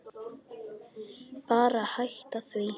Bara hætta því.